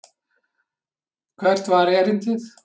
Hvert var erindið?